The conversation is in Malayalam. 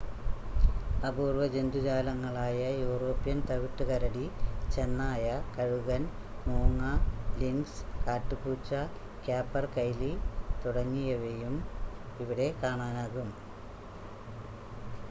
അപൂർവ ജന്തുജാലങ്ങളായ യൂറോപ്യൻ തവിട്ട് കരടി ചെന്നായ കഴുകൻ മൂങ്ങ ലിൻക്സ് കാട്ടുപൂച്ച ക്യാപെർകൈലി തുടങ്ങിയവയെയും ഇവിടെ കാണാനാകും